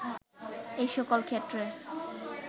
এই সকল ক্ষেত্রে